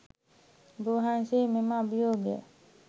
ඔබ වහන්සේ මෙම අභියෝගය